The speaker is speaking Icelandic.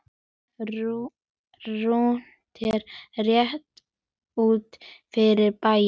Rúntur rétt út fyrir bæinn.